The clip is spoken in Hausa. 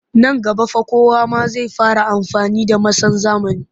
Nan gaba fa kowa ma zai koma amfani da masan zamani